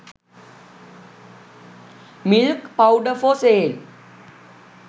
milk powder for sale